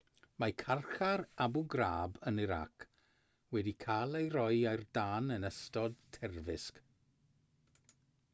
mae carchar abu ghraib yn irac wedi cael ei roi ar dân yn ystod terfysg